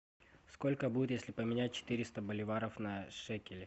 сколько будет если поменять четыреста боливаров на шекели